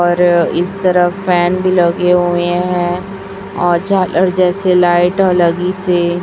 और इस तरह फैन भी लगे हुए है और झालर जैसे लाइट ह लगी हे।